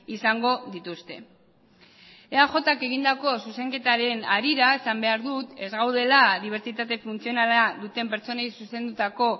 izango dituzte eajk egindako zuzenketaren harira esan behar dut ez gaudela dibertsitate funtzionala duten pertsonei zuzendutako